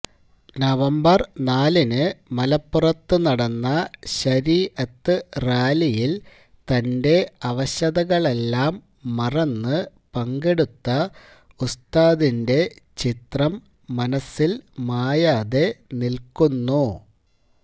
November നാലിന് മലപ്പുറത്ത് നടന്ന ശരീഅത്ത് റാലിയില് തന്റെ അവശതകളെല്ലാം മറന്ന് പങ്കെടുത്ത ഉസ്താദിന്റെ ചിത്രം മനസ്സില് മായാതെ നില്ക്കുന്നു